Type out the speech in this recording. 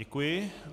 Děkuji.